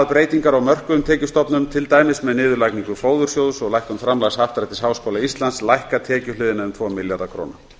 breytingar á mörkuðum tekjustofnum til dæmis með niðurlagningu fóðursjóðs og lækkun framlags happdrættis háskóla íslands lækka tekjuhliðina um tvo milljarða króna